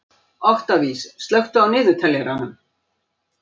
Oktavías, slökktu á niðurteljaranum.